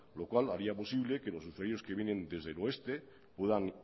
lo cual haría posible que los usuarios que vienen desde el oeste puedan